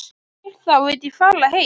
Þú vilt þá ekki fara heim?